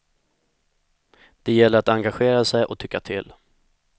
Det gäller att engagera sig och tycka till.